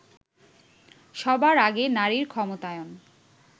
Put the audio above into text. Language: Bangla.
সবার আগে নারীর ক্ষমতায়ন